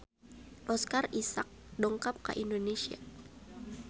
Oscar Isaac dongkap ka Indonesia